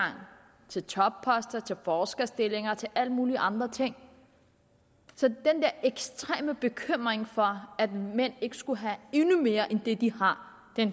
til topposter til forskerstillinger til alle mulige andre ting så den der ekstreme bekymring for at mænd ikke skal have endnu mere end det de har